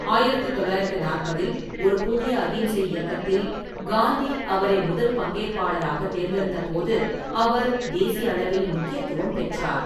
ஆயிரத்து தொள்ளாயிரத்து நாற்பதில் ஒரு புதிய அகிம்சை இயக்கத்தில் காந்தி அவரை முதல் பங்கேற்பாளராகத் தேர்ந்தெடுத்த போது அவர் தேசியளவில் முக்கியத்துவம் பெற்றார்.